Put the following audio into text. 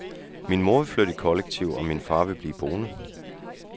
Min mor ville flytte i kollektiv og min far ville blive boende.